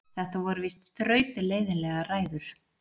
Þetta voru víst þrautleiðinlegar ræður.